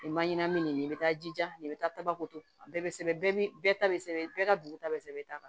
Nin man ɲɛnamini nin bɛ taa jija nin i bɛ taa tabakoto bɛɛ bɛ sɛbɛn bɛɛ ta bɛ sɛbɛn bɛɛ ka dugu ta bɛ sɛbɛn ta kan